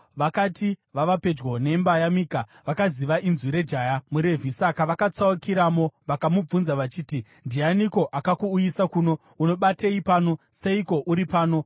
Vakati vava pedyo nemba yaMika, vakaziva inzwi rejaya muRevhi; saka vakatsaukiramo vakamubvunza vachiti, “Ndianiko akakuuyisa kuno? Unobatei pano? Seiko uri pano?”